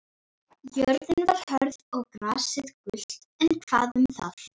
Jörðin var hörð og grasið gult, en hvað um það.